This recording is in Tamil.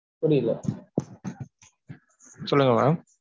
புரியில. சொல்லுங்க mam